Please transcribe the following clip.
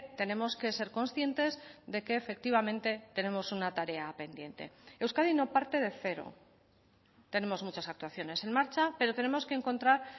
tenemos que ser conscientes de que efectivamente tenemos una tarea pendiente euskadi no parte de cero tenemos muchas actuaciones en marcha pero tenemos que encontrar